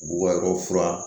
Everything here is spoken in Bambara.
Bubakari fura